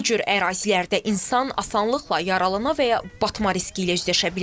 Bu cür ərazilərdə insan asanlıqla yaralana və ya batma riski ilə üzləşə bilər.